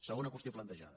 segona qüestió plantejada